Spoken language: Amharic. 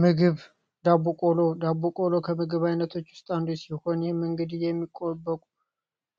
ምግብ ዳቦ ቆሎ ዳቦ ቆሎ ከምግብ አይነቶች አንዱ ሲሆን፤ ይህም እንግዲህ